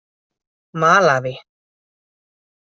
Malaví